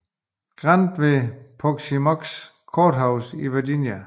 Grant ved Appomattox Courthouse i Virginia